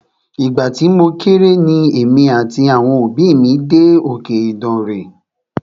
Ìgbà tí mo kéré ni èmi àti àwọn òbí mí dé òkè Ìdànre.